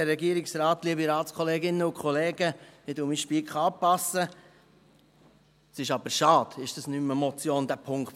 Aber es ist schade, dass der Punkt 5 keine Motion mehr ist.